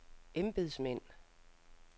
embedsmænd